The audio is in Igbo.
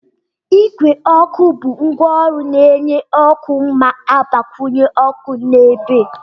Igwe ọkụ bụ ngwaọrụ na-enye ọkụ na-agbakwunye ọkụ na ebe